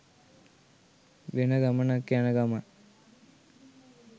වෙන ගමනක් යන ගමන්.